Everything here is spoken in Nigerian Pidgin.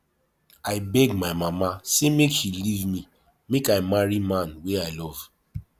i beg my mama sey make she leave me make i marry man wey i love